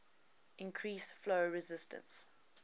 increase flow resistance